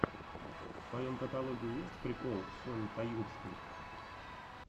в твоем каталоге есть прикол сони таюрской